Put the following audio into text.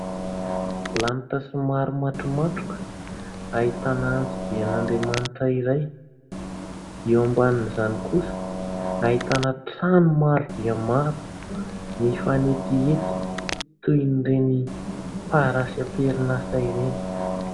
Lanitra somary matromatroka ahitana anjoby an'Andriamanitra iray dia eo ambanin'izany kosa ahitana trano maro dia maro mifanetiety toy ireny parasy amperinasa ireny.